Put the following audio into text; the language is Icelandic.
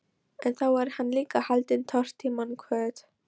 En þá er hann líka haldinn tortímingarhvöt.